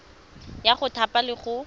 ya go thapa le go